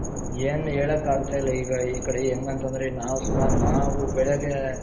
ಏನ್ ಹೇಳಕ್ಕಾಗ್ತಾ ಇಲ್ಲ ಈಗ ಈ ಕಡೆ ಹೆಂಗ್ ಅಂತoದ್ರೆ ನಾವ್ ಸುಮಾರು ನಾವು ಬೆಳಗ್ಗೆ,